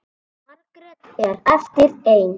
Margrét er eftir ein.